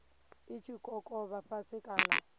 i tshi kokovha fhasi kana